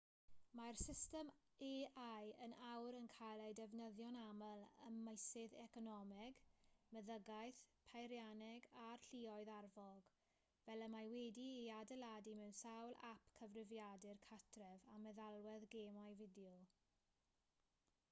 mae'r system ai yn awr yn cael ei defnyddio'n aml ym meysydd economeg meddygaeth peirianneg a'r lluoedd arfog fel y mae wedi'i adeiladu mewn sawl ap cyfrifiadur cartref a meddalwedd gemau fideo